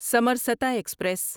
Samarsata express